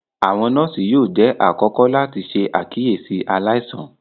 Awọn nọọsi yóò jẹ àkọ́kọ́ láti ṣe àkíyèsí aláìsàn